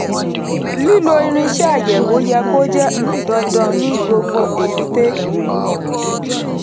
lílo irinṣẹ́ àyẹ̀wò yẹ kó jẹ́ um dandan ní gbogbo èbúté.